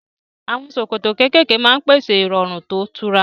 Àwọn ṣòkòtò kéékèèké máa ń pèsè ìrọ̀rùn tó tura